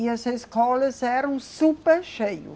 E as escolas eram super cheio